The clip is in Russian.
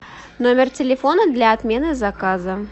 номер телефона для отмены заказа